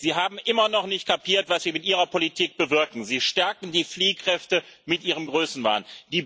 Sie haben immer noch nicht kapiert, was Sie mit Ihrer Politik bewirken Sie stärken die Fliehkräfte mit Ihrem Größenwahn.